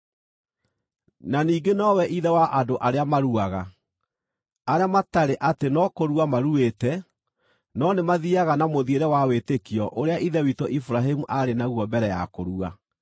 Na ningĩ nowe ithe wa andũ arĩa maruaga, arĩa matarĩ atĩ no kũrua maruĩte, no nĩmathiiaga na mũthiĩre wa wĩtĩkio ũrĩa ithe witũ Iburahĩmu aarĩ naguo mbere ya kũrua.